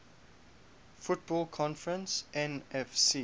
football conference nfc